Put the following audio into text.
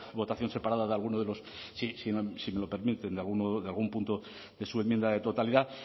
votación separada de alguno de los si me lo permiten de algún punto de su enmienda de totalidad